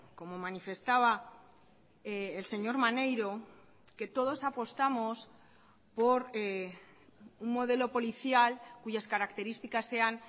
como manifestaba el señor maneiro que todos apostamos por un modelo policial cuyas características sean